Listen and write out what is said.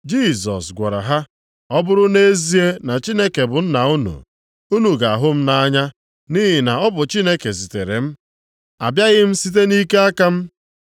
Jisọs gwara ha, “Ọ bụrụ nʼezie na Chineke bụ Nna unu, unu ga-ahụ m nʼanya, nʼihi na ọ bụ Chineke zitere m. Abịaghị m site nʼike aka m.